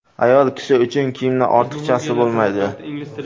Ayol kishi uchun kiyimning ortiqchasi bo‘lmaydi.